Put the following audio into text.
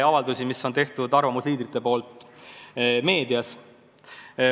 Avaldused – siin all mõeldakse arvamusliidrite avalikke avaldusi meedias.